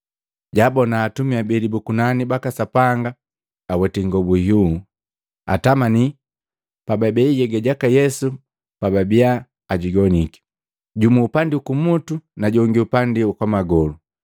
jaabona atumi abeli bu kunani baka Sapanga aweti ingobu iyuu, atamani pababei nhyega jaka Yesu pwabiya ajigoniki, jumu upandi ukumutu na jongi upandi wa kwamagolu.